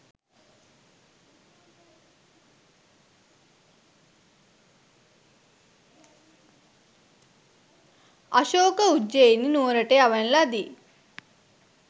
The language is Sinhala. අශෝක උජ්ජෙයිනි නුවරට යවන ලදී.